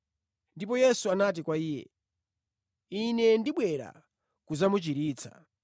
Ndipo Yesu anati kwa iye, “Ine ndibwera kudzamuchiritsa.”